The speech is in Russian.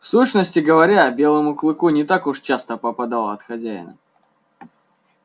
в сущности говоря белому клыку не так уж часто попадало от хозяина